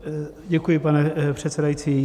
Děkuji, pane předsedající.